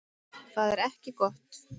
Það er ekki gott